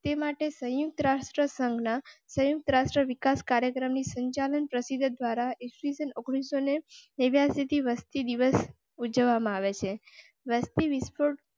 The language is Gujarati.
તે માટે સંયુક્ત રાષ્ટ્રસંઘ ના સંયુક્ત રાષ્ટ્ર વિકાસ કાર્યક્રમ સંચાલન પ્રસિદ્ધ દ્વારા વિશ્વને નવ્યાસી વસ્તી દિવસ. ઉજવવા માં આવે છે.